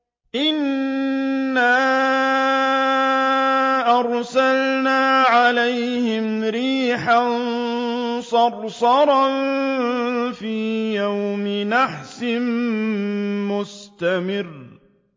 إِنَّا أَرْسَلْنَا عَلَيْهِمْ رِيحًا صَرْصَرًا فِي يَوْمِ نَحْسٍ مُّسْتَمِرٍّ